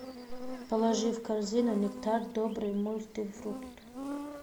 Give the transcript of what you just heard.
положи в корзину нектар добрый мультифрукт